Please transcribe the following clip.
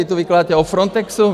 Vy tu vykládáte o Frontexu?